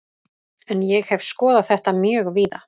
En ég hef skoðað þetta mjög víða.